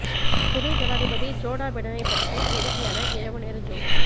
துணை ஜனாதிபதி ஜோ பிடனைப் பற்றி வேடிக்கையான இரவு நேர ஜோக்ஸ்